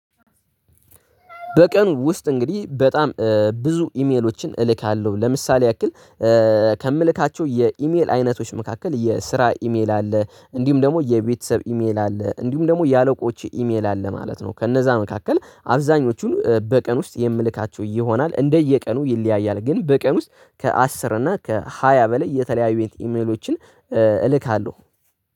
በቀን ውስጥ እንግዲህ በጣም ብዙ ኢሜሎችን እልካለሁ። ለምሳሌ ያክል ከምልካቸው የኢሜል አይነቶች መካከል የስራ ኢሜል አለ፤ እንዲሁም ደግሞ የቤተሰብ ኢሜል አለ፤ እንዲሁም ደግሞ የአለቆች ኢሜል አለ፤ ማለት ነው። ከነዛ መካከል አብዛኞቹን በቀን ውስጥ የምልካቸው ይሆናል። እንደየቀኑ ይለያያል ግን በቀን ውስጥ ከአስር እና ከሃያ በላይ የተለያዩ ኢሜሎችን እልካለሁ።